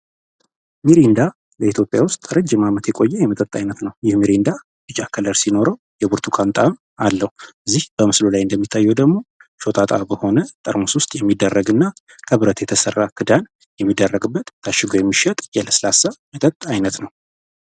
በኢትዮጵያ ረጅም ዓመት የቆየ የለስላሳ መጠጥ ነው ቢጫ ቀለምያለው ብርቱኳን ጣእም አለው እዚህ በምስሉ ላይ እንደምናየው ደግሞ በሆነ ጠርሙስ የሚደረግ እና ክብረት የተሰራ ክዳን የሚደረግበት ታሽጎ የሚሸጥ የለስላሳ መጠጥ አይነት ነው።